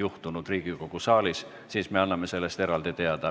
juhtumeid on Riigikogu saalis ennegi olnud –, siis me anname sellest eraldi teada.